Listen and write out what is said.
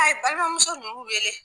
balimamuso ninnu wele.